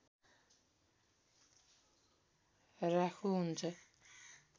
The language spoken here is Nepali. राख्नु हुन्छ